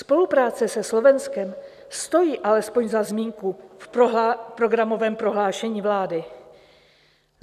Spolupráce se Slovenskem stojí alespoň za zmínku v programovém prohlášení vlády.